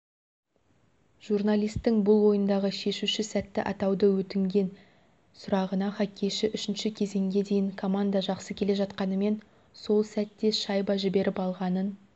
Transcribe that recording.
журналистің бұл ойындағы шешуші сәтті атауды өтінген сұрағына хоккейші үшінші кезеңге дейін команда жақсы келе жатқанымен сол сәтте шайба жіберіп алғанын